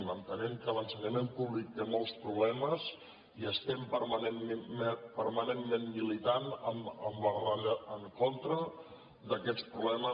entenem que l’ensenyament públic té molts problemes i estem permanentment militant en contra d’aquests problemes